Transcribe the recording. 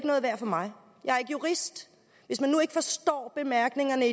noget værd for mig jeg er ikke jurist hvis vi nu ikke forstår bemærkningerne